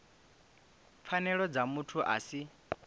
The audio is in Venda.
pfanelo dza muthu a si